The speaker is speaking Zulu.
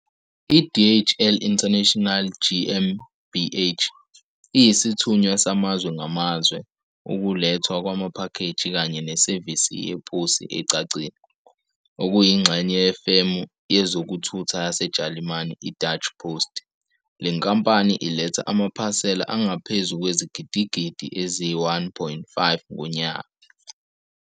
I-DHL International GmbH, iyisithunywa samazwe ngamazwe, ukulethwa kwamaphakheji kanye nesevisi yeposi ecacile, okuyingxenye yefemu yezokuthutha yaseJalimane i-Deutsche Post. Le nkampani iletha amaphasela angaphezu kwezigidigidi eziyi-1.5 ngonyaka.